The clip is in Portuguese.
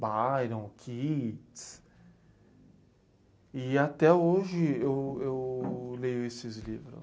Byron, Keats... E até hoje eu eu leio esses livros.